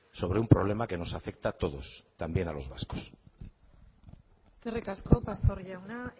sobre un problema que nos afecta a todos también a los vascos eskerrik asko pastor jauna